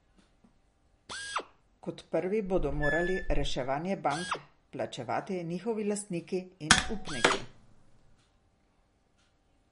Kot prvi bodo morali reševanje bank plačevati njihovi lastniki in upniki.